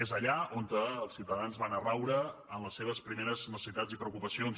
és allà on els ciutadans van a raure en les seves primeres necessitats i preocupacions